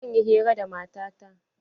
Zan yi hira da mata ta.